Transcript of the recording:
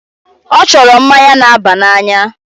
Ọ chọrọ mmanya na-aba n'anya.